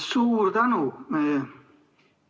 Suur tänu!